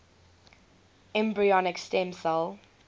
embryonic stem cell